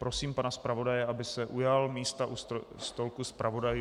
Prosím pana zpravodaje, aby se ujal místa u stolku zpravodajů.